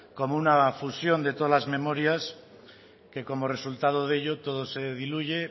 como una fusión de todas las memorias que como resultado de ello todo se diluye